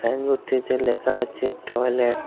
সাইনবোর্ডটিতে লেখা আছে টয়লেট ।